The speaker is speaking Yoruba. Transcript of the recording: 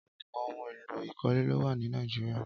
Ọpọlọpọ óhùn éló ikọ̀lé ló wà ni Náijirià